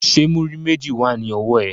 Ṣé múrí méjì wà ní ọwọ́ ẹ?